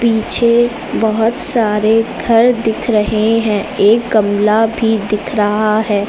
पीछे बोहोत सारे घर दिख रहे हैं। एक गमला भी दिख रहा है।